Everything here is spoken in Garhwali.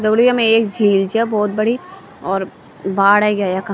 दगड़ियों येमा एक झील च्या भौत बड़ी और बाड ऐैग्या यखा।